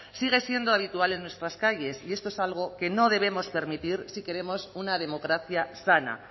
sigue siendo habitual en nuestras calles y esto es algo que no debemos permitir si queremos una democracia sana